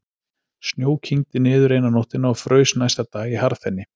Snjó kyngdi niður eina nóttina og fraus næsta dag í harðfenni.